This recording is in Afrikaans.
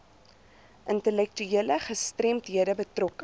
intellektuele gestremdhede betrokke